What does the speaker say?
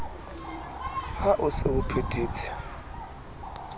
ha o se o phethetse